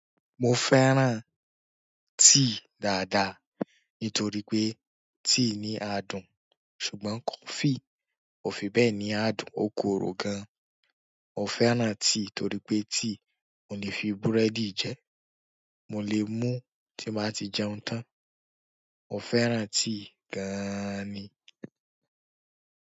Mo fẹ́ràn tíì dáadáa nítorí pé tíì ní adùn ṣùgbọ́n coffee kò fi bẹ́ẹ̀ ní adùn ó korò gan. Mo fẹ́ràn tíì torí pé tíì mò le fi búrẹ́dì jẹ́. Mo lè mú tí n bá ti jẹun tán. Mo fẹ́ràn tíì gan ni.